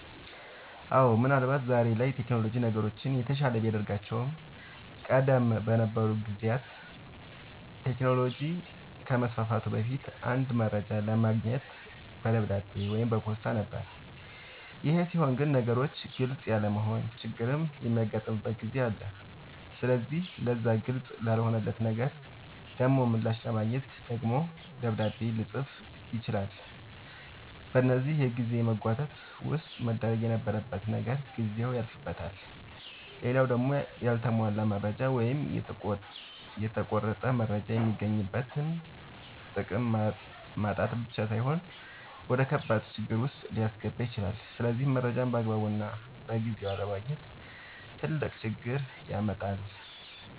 አወ ምን አልባት ዛሬ ላይ ቴክኖሎጅ ነገሮችን የተሻለ ቢያደርጋቸውም ቀደም በነበሩ ጊዜያት ቴክኖሎጅ ከመስፋፋቱ በፊት አንድ መረጃ ለማግኘት በደብዳቤ ወይም በፖስታ ነበር ይሄ ሲሆን ግን ነገሮች ግልፅ ያለመሆን ችግርም የሚያጋጥምበት ጊዜ አለ ስለዚህ ለዛ ግልፅ ላልሆነለት ነገር ደሞ ምላሽ ለማግኘት ደግሞ ደብዳቤ ልፅፍ ይችላል በዚህ የጊዜ መጓተት ውስጥ መደረግ የነበረበት ነገር ጊዜው ያልፍበታል። ሌላው ደሞ ያልተሟላ መረጃ ወይም የተቆረጠ መረጃ የሚገኝበትን ጥቅም ማጣት ብቻ ሳይሆን ወደከባድ ችግር ዉስጥ ሊያስገባ ይችላል ስለዚህ መረጃን ባግባቡና በጊዜው አለማግኘት ትልቅ ችግር ያመጣል